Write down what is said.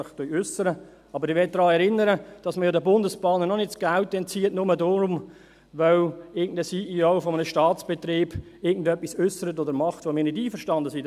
Ich möchte jedoch daran erinnern, dass man den SBB auch nicht die Mittel entzieht, weil ein CEO eines Staatsbetriebs etwas äussert oder tut, womit wir nicht einverstanden sind.